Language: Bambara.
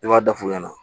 Ne b'a da f'u ɲɛna